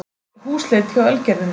Húsleit hjá Ölgerðinni